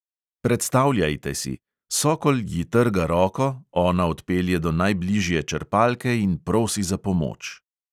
Predstavljajte si: sokol ji trga roko, ona odpelje do najbližje črpalke in prosi za pomoč.